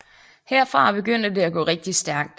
Herfra begyndte det at gå rigtig stærkt